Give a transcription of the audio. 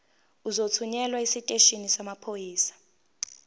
uzothunyelwa esiteshini samaphoyisa